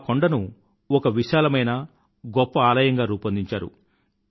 ఆ కొండను ఒక విశాలమైన గొప్ప ఆలయంగా రూపొందించారు